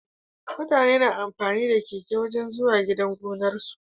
Mutane na amfani da keke wajan zuwa gidan gonar su